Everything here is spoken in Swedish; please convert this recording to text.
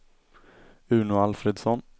Uno Alfredsson